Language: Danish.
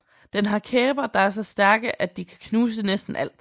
Den har kæber der er så stærke at de kan knuse næsten alt